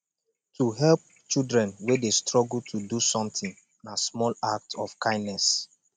to help children wey de struggle to do something na small act of kindness